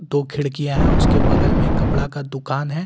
दो खिड़कियां हैं उसके बगल में कपड़ा का दुकान है।